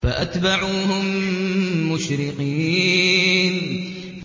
فَأَتْبَعُوهُم مُّشْرِقِينَ